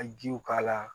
Ka jiw k'a la